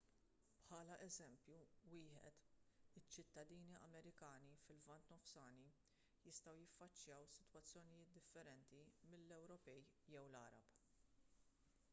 bħala eżempju wieħed iċ-ċittadini amerikani fil-lvant nofsani jistgħu jiffaċċjaw sitwazzjonijiet differenti mill-ewropej jew l-għarab